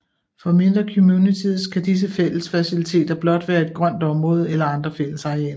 For mindre communities kan disse fællesfaciliteter blot være et grønt område eller andre fællesarealer